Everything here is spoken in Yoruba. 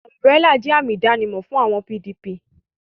Umburélà jẹ́ àmì ìdánimọ̀ àwọn PDP